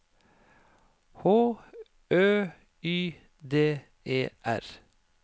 H Ø Y D E R